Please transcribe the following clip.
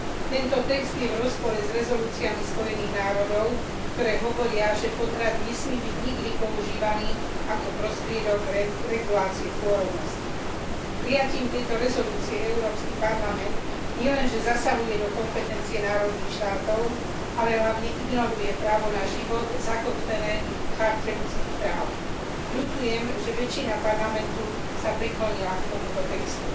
Tento text je v rozpore s rezolúciami Organizácie Spojených národov, ktoré hovoria, že potrat nesmie byť nikdy používaný ako prostriedok regulácie pôrodnosti. Prijatím tohto uznesenia Európsky parlament nielenže zasahuje do kompetencie národných štátov, ale hlavne ignoruje právo na život zakotvené v charte ľudských práv. Ľutujem, že väčšina Parlamentu sa priklonila k tomuto textu.